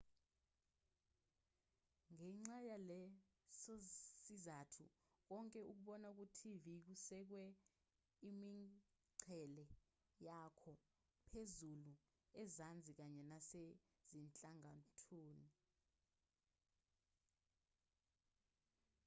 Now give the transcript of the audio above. ngenxa yalesosizathu konke okubona kutv kusikwe imingcele yakho phezulu ezansi kanye nasezinhlangothini